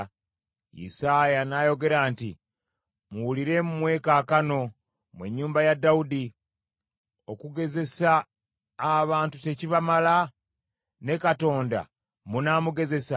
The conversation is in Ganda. Isaaya n’ayogera nti, “Muwulire mmwe kaakano, mmwe ennyumba ya Dawudi! Okugezesa abantu tekibamala? Ne Katonda munaamugezesa?